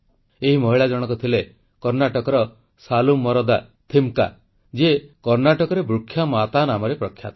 ଏହି ମହିଳା ଜଣକ ଥିଲେ କର୍ଣ୍ଣାଟକର ସାଲୁମର୍ଦା ଥିମକ୍କା ଯିଏ କର୍ଣ୍ଣାଟକରେ ବୃକ୍ଷମାତା ନାମରେ ପ୍ରଖ୍ୟାତ